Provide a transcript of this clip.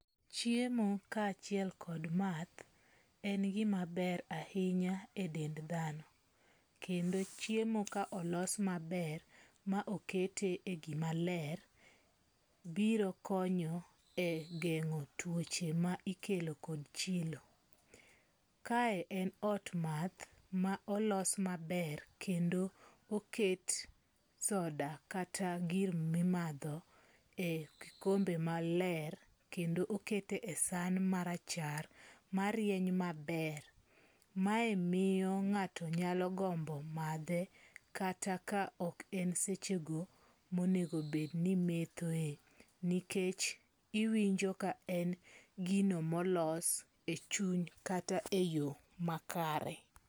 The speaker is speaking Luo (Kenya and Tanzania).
Chiemo ka chiel kuom math en gimaber ahinya e dend thano, kendo chiemo ka olos maber, ma okete e gimaler, biro konyo e gengo e twoche ma ikelo kod chilo, kae en od matha ma olos maber kendo oket soda kata gir mimatho e okombe maler kendo oketo e san marachar marieny maber mae miyo nga'to nyalo gombo mathe kata ka ok en sechego monego obet ni imethoe nikech iwinjo ka en gino molos e chuny kata e yo makare.